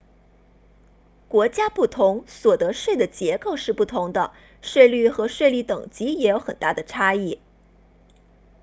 国家不同所得税的结构是不同的税率和税率等级也有很大的差异